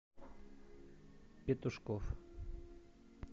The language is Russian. петушков